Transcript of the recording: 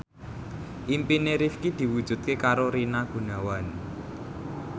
impine Rifqi diwujudke karo Rina Gunawan